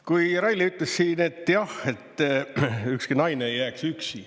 Kui Reili ütles siin, et jah, et ükski naine ei jääks üksi.